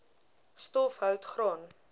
stof hout graan